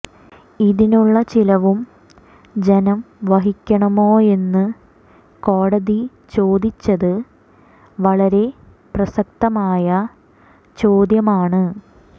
ഇതിനുള്ള ചിലവും ജനം വഹിക്കണമോയെന്ന് കോടതി ചോദിച്ചത് വളരെ പ്രസക്തമായ ചോദ്യമാണ്